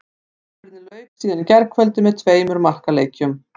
Umferðinni lauk síðan í gærkvöldi með tveimur markaleikjum.